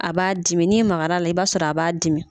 A b'a dimin'i makara la i b'a sɔrɔ a b'a dimi.